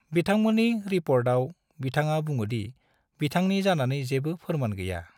बिथांमोननि रिपर्टआव बिथाङा बुंदोंदि बिथांनि जानानै जेबो फोरमान गैया।